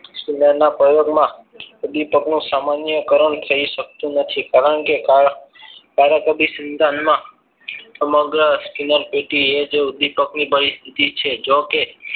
ના પ્રયોગમાં ઉદ્દીપક નું સામાન્યકરણ થઈ શકતું નથી કારણ કે કારક અધિસંધાનમાં સમગ્ર અસ્તિત્વ પેટીએ જ ઉદ્દીપકની છે જોકે